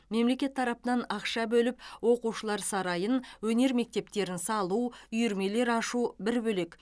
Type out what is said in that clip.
мемлекет тарапынан ақша бөліп оқушылар сарайын өнер мектептерін салу үйірмелер ашу бір бөлек